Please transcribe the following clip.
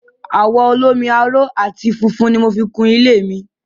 Àwọ̀ olómi-aró àti funfun ni mo fi kun ilé mi.